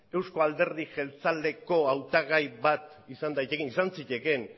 euzko alderdi jeltzaleko hautagai bat izan daitekeen izan zitekeen